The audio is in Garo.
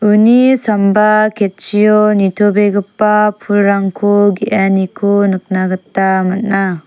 uni samba ketchio nitobegipa pulrangko ge·aniko nikna gita man·a.